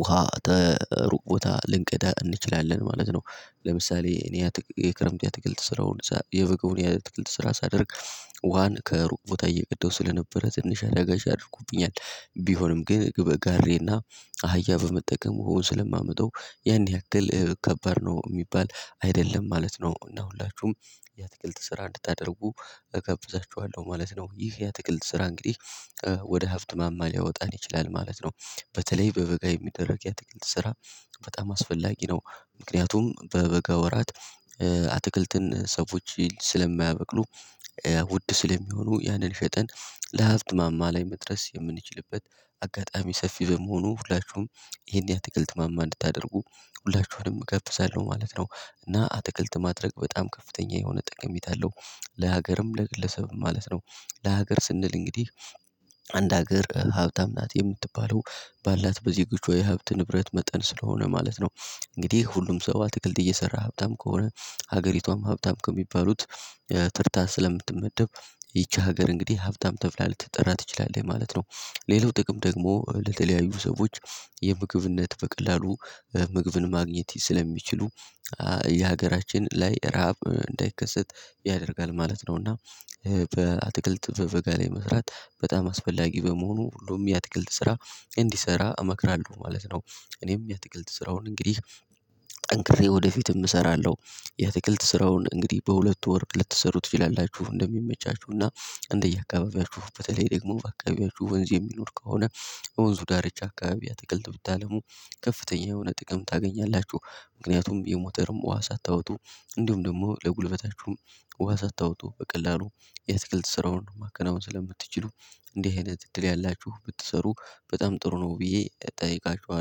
ውሃ ተ ሩቅ ቦታ ልንቀዳ እንችላለን ማለት ነው። ለምሳሌ እኔ የክረምት ያአትክልት ስራውን የበጋውን ያአትክልት ስራ ሳደርግ ዋን ከሩቅ ቦታ እየቀዳው ስለነበረ ትንሽ አዳጋች አድርጎብኛል ቢሆንም ግን ግብ ጋሬና አህያ በመጠቀሙ ዉሃውን ስለማመጠው ያን ያክል ከባድ ነው ሚባል አይደለም ማለት ነው። እና ሁላችሁም ያአትክልት ስራ እንድታደርጉ እጋብዛችኋለሁ ማለት ነው። ይህ ያአትክልት ስራ እንግዲህ ወደ ሀብት ማማ ሊያወጣን ይችላል ማለት ነው። በተለይ በበጋ የሚደረግ የአትክልት ስራ በጣም አስፈላጊ ነው። ምክንያቱም በበጋ ወራት አትክልትን ሰዎች ስለማያበቅሉ ውድ ስለሚሆኑ ያንን ሽጠን ለሀብት ማማ ላይ መድረስ የምንችልበት አጋጣሚ ሰፊ በመሆኑ ሁላችሁም ይሄን ያአትክልት ማማ እንድታደርጉ ሁላችሁንም እጋብዛለሁ ማለት ነው። እና አትክልት ማድረግ በጣም ከፍተኛ የሆነ ጠቀሜታ አለው። ለሀገርም ለግለሰብም ማለት ነው። ለሀገር ስንል እንግዲህ አንድ ሀገር ሀብታም ናት የምትባለው ባላት በዜጎች የሀብት ንብረት መጠን ስለሆነ ማለት ነው። እንግዲህ ሁሉም ሰው አትክልት እየሰራ ሀብታም ከሆነ ሀገሪቷም ሀብታም ከሚባሉት ተርታ ስለምትመደብ ይቺ ሀገር እንግዲህ ሀብታም ተብላ ልትጠራ ትችላለይ ማለት ነው። ሌላው ጥቅም ደግሞ ለተለያዩ ሰዎች የምግብነት በቀላሉ ምግብን ማግኘት ስለሚችሉ የሀገራችን ላይ ረሃብ እንዳይከሰት ያደርጋል ማለት ነው። እና በአትክልት በበጋ ላይ መስራት በጣም አስፈላጊ በመሆኑ ሁሉም የአትክልት ስራ እንዲሰራ እመክራለሁ ማለት ነው። እኔም ያአትክልት ስራውን እንግዲህ ጠንክሬ ወደፊትም እሰራለሁ። ያአትክልት ስራውን እንግዲህ በሁለቱ ወር ልትሰሩት ትችላላችሁ እንደሚመቻችሁና እንደየአካባቢያችሁ በተለይ ደግሞ በአካባቢያችሁ ወንዝ የሚኖር ከሆነ በወንዙ ዳርቻ አካባቢ አትክልት ብታለሙ ከፍተኛ የሆነ ጥቅም ታገኛላችሁ። ምክንያቱም የሞተርም ውሃ ሳታወጡ እንዲሁም ደግሞ ለጉልበታችሁም ውሃ ሳታወጡ በቀላሉ የትክልት ስራውን ነው ማከናወን ስለምትችሉ። እንዲህ አይነት እድል ያላችሁ ብትሰሩ በጣም ጥሩ ነው ብዬ እጠይቃችኋለሁ